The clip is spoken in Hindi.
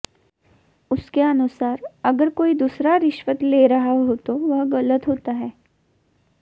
उसके अनुसार अगर कोई दूसरा रिश्वत ले रहा हो तो वह गलत होता है